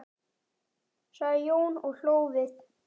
sagði Jón og hló við.